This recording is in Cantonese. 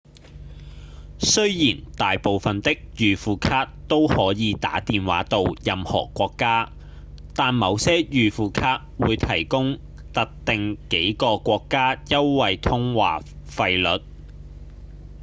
雖然大部分的預付卡都可以打電話到任何國家但某些預付卡會提供特定幾個國家優惠通話費率